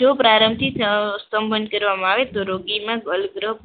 જો પ્રારંભથી સબંધમાં આવે તો રોગીમાં,